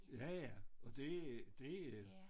Ja ja og det det